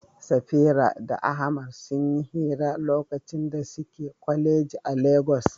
Safira da Ahmad sun yi hirar lokacin da suke kwaleji a Legas.